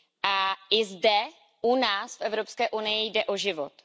A i zde u nás, v Evropské unii, jde o život.